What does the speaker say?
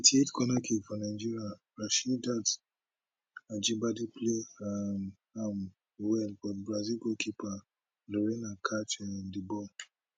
eighty eight corner kick for nigeria rasheedat ajibade play um am well but brazil goalkeeper lorena catch um di ball